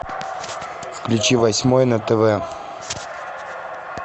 включи восьмой на тв